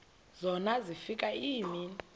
zona zafika iimini